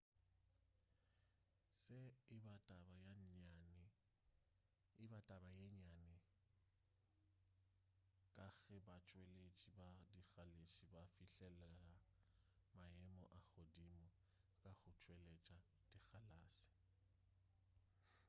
se e ba taba ye nnyane ka ge batšweletši ba dikgalase ba fihlelela maemo a godimo ka go tšweletša dikgalase